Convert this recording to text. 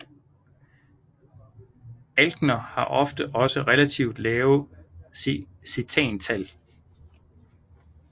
Alkener har ofte også relativt lave cetantal